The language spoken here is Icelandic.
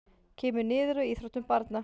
Kemur niður á íþróttum barna